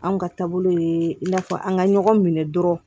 Anw ka taabolo ye i n'a fɔ an ka ɲɔgɔn minɛ dɔrɔn